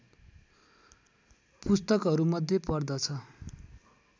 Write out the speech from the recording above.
पुस्तकहरूमध्ये पर्दछ